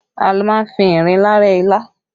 A má ń fi ìrinlá rẹ́ ilá